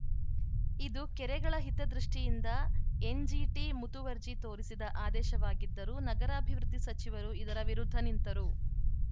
ಇದು ಕೆರೆಗಳ ಹಿತದೃಷ್ಟಿಯಿಂದ ಎನ್‌ಜಿಟಿ ಮುತುವರ್ಜಿ ತೋರಿಸಿದ ಆದೇಶವಾಗಿದ್ದರೂ ನಗರಾಭಿವೃದ್ಧಿ ಸಚಿವರು ಇದರ ವಿರುದ್ಧ ನಿಂತರು